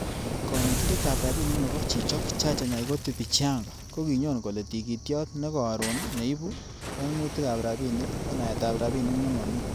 Konetindet ab rabinik nebo chichok, Chacha Nyaigoti Bichianga ko kinyon kole tigitiot nekoroon neibu koimutikab rabinik ko naetab rabinik nemomi.